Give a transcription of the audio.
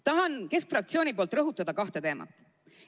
Tahan Keskerakonna fraktsiooni nimel rõhutada kahte teemat.